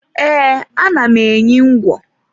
E, ana m enyi ngwo